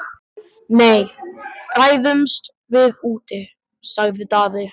Nei, ræðumst við úti, sagði Daði.